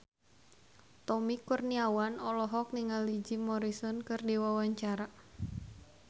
Tommy Kurniawan olohok ningali Jim Morrison keur diwawancara